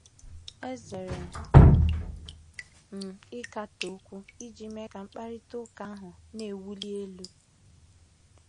Ezere m ịkatọ okwu iji mee ka mkparịta ụka ahụ na-ewuli elu.